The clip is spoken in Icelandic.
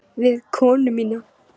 Við konu mína.